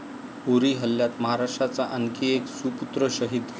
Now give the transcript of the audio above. उरी हल्ल्यात महाराष्ट्राचा आणखी एक सुपुत्र शहीद